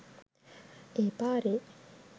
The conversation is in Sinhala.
ඒ පාරේ